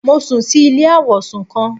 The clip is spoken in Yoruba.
Mo sùn si ilé àwọ̀sùn kan